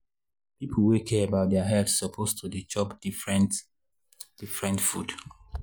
people wey care about health suppose to dey chop different different food.